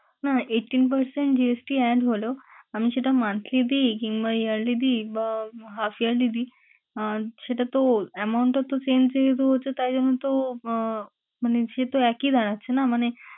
না, না eighteen percent GST add হলো আমি সেটা monthly দিই কিংবা yearly দিই বা half yearly দিই আহ সেটা তো amount টা তো same যেহেতু হচ্ছে তাই জন্য তো আহ মানে সেতো একই দাঁড়াচ্ছে না? মানে,